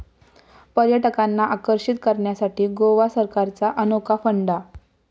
पर्यटकांना आकर्षित करण्यासाठी गोवा सरकारचा अनोखा फंडा